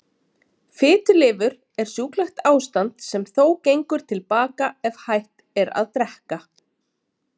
Fitulifur er sjúklegt ástand sem þó gengur til baka ef hætt er að drekka.